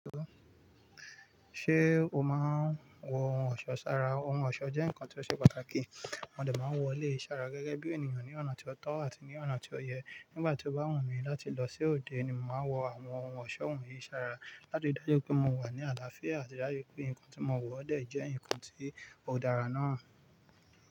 Ṣé o máa ń wọ ohun ọ̀ṣọ́ sára? Ohun ọ̀ṣọ́ jẹ́ nǹkan ti ó ṣe pàtàkì. Mo de máa ń wọ eleyii ṣàrà gẹ́gẹ́ bí ènìyàn ní ọ̀nà tí ó tọ́ àti ní ọ̀nà tí ó yẹ. Nígbà tí ó bá wùn mí láti lọ sí òde, ni mo máa ń wọ àwọn ohun ọ̀ṣọ́ wọ̀nyí sára láti ri dájú pé mo wà ní àlàáfíà àti dájú pé nǹkan tí mo wọ̀ dẹ̀ jẹ́ nǹkan tí ó dára náà.